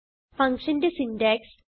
functionന്റെ syntax